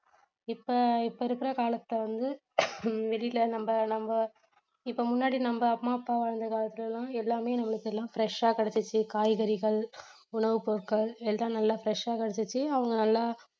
இப்ப இப்ப இருக்கிற காலத்தில வந்து வெளியில நம்ம நம்ம இப்ப முன்னாடி நம்ம அம்மா அப்பா அந்த காலத்தில எல்லாம் எல்லாமே அவங்களுக்கு எல்லாமே fresh ஆ கிடைச்சிடுச்சி காய்கறிகள், உணவுப் பொருட்கள் எல்லாம் நல்லா fresh ஆ கிடைச்சிடுச்சி அவங்க நல்லா